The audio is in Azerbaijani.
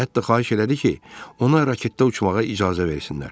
Hətta xahiş elədi ki, ona raketdə uçmağa icazə versinlər.